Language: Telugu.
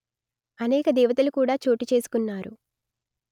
అనేక దేవతలు కూడా చోటు చేసుకున్నారు